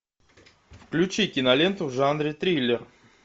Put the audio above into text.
включи киноленту в жанре триллер